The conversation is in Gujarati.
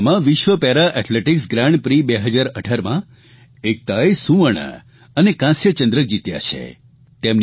ટ્યુનિશિયામાં વિશ્વ પેરા એથ્લેટીકસ ગ્રાન્ડ પ્રી 2018માં એકતાએ સુવર્ણ અને કાંસ્ય ચંદ્રક જીત્યા છે